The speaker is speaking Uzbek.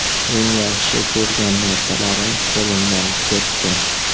Eng yaxshi ko‘rgan narsalarim qo‘limdan ketdi.